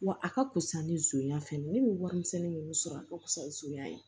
Wa a ka fusa ni zonya fɛn ne ye warimisɛnnin ninnu sɔrɔ a ka fisa ni sonya ye